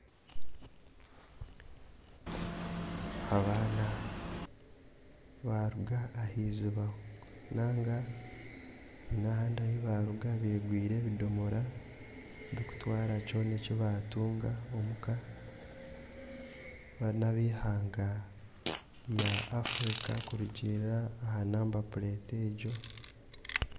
Abaana baaruga aha eiziba nainga haine ahandi ahi baaruga begwire ebidomora birikutwara kyona eki baatunga omu ka. Baana n'ab'eihanga rya Afrika kurugirira aha namba puleeti egyo.